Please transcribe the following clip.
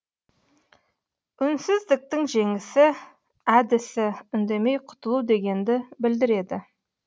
үнсіздіктің жеңісі әдісі үндемей құтылу дегенді білдіреді